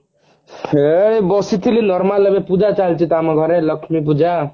ସେଇ ବସିଥିଲି normal ଏବେ ପୂଜା ଚାଲିଛି ତ ଆମ ଘରେ ଲକ୍ଷ୍ମୀ ପୂଜା